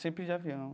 Sempre de avião.